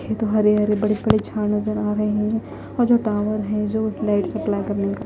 ये तो हरे हरे बड़े बड़े झाड़ नजर आ रहे हैं और जो टॉवर हैं जो लाइट सप्लाई करने का --